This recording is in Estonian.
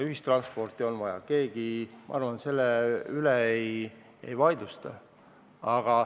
Ühistransporti on vaja, keegi, ma arvan, seda ei vaidlusta.